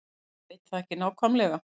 Ég veit það ekki nákvæmlega.